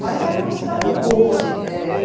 Mas era uma cidade boa, assim, é...